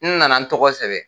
N na na n tɔgɔ sɛbɛ.